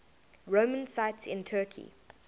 roman sites in turkey